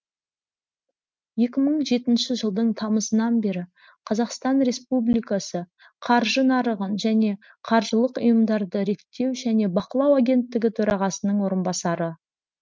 екі мың жетінші жылдың тамызынан бері қазақстан республикасы қаржы нарығын және қаржылық ұйымдарды реттеу және бақылау агенттігі төрағасының орынбасары